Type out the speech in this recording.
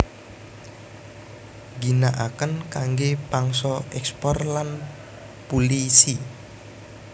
Ngginaaken kangge pangsa ekspor lan pulisi